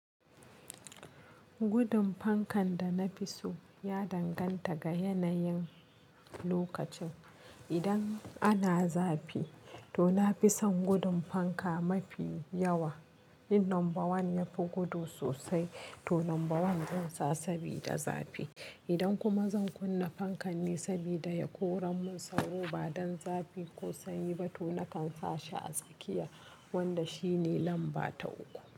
Gudun fankan da na fi so ya danganta ga yanayin lokacin. Idan ana zafi, to na fi son gudun fanka mafi yawa. In lamba 1 ya fi gudu sosai, to lamba 1 zan sa sabida zafi. Idan kuma zan kunna fankan ne sabida ya koren mun sauro ba don zafi ko sanyi ba, to na kan sa shi a tsakiya, wanda shi ne lamba ta 3.